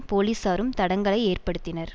போலிசாரும் தடங்கலை ஏற்படுத்தினர்